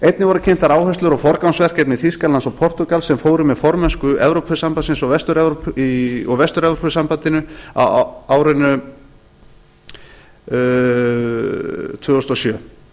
einnig voru kynntar áherslur og forgangsverkefni þýskalands og portúgals sem fóru með formennsku í evrópusambandinu og vestur evrópusambandinu á árinu tvö þúsund og sjö